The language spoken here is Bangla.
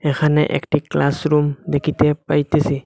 এখানে একটি ক্লাসরুম দেখিতে পাইতেসি।